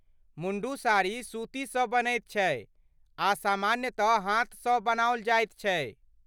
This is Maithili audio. मुण्डु साड़ी सूतीसँ बनैत छै आ सामान्यतः हाथसँ बनाओल जाइत छै।